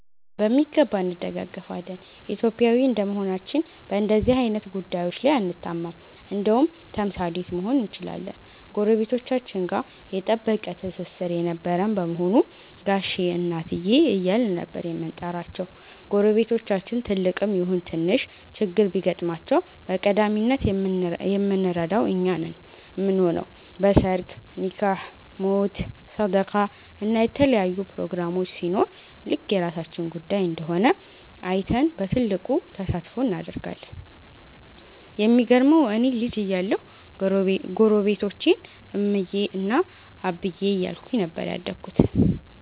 በሚገባ እንደጋገፋለን። ኢትዮጵያዊ እንደመሆናችን በንደዚህ አይነት ጉዳዬች ላይ አንታማም እንደውም ተምሳሌት መሆን እንችላለን። ጎረቤቶቻችን ጋ የጠበቀ ትስስር የነበረን በመሆኑ ጋሼ እና እትዬ እያልን ነበር የምንጠራቸው። ጎረቤቶቻችን ትልቅም ይሁን ትንሽ ችግር ቢገጥማቸው በቀዳሚነት የምንረዳው እኛ ነን ምንሆነው። በ ሰርግ፣ ኒካህ፣ ሞት፣ ሰደቃ እና የተለያዩ ፕሮግራሞች ሲኖር ልክ የራሳችን ጉዳይ እንደሆነ አይተን በትልቁ ተሳትፎ እናደርጋለን። የሚገርመው እኔ ልጅ እያለሁ ጎረቤቶቼን እምዬ እና አብዬ እያልኩኝ ነበር ያደግኩት።